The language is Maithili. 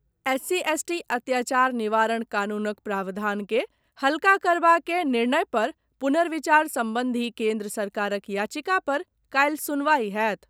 एससी एसटी अत्याचार निवारण कानूनक प्रावधानकेँ हल्का करबाक निर्णय पर पुनर्विचार सम्बन्धी केन्द्र सरकारक याचिका पर काल्हि सुनवाइ होयत।